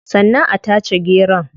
Sannan a tace geron